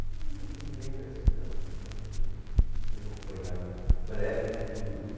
Não me lembro assim não, acho que a gente fez um apanhado breve de tudo.